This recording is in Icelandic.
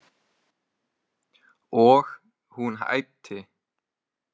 Og hún æpti.